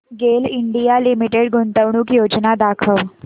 गेल India Limited गुंतवणूक योजना दाखव